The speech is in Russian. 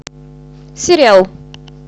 сериал